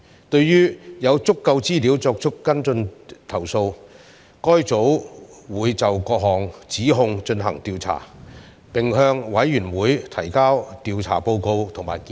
對於有足夠資料作出跟進的投訴，該組會就各項指控進行調查，並向委員會提交調查報告及建議。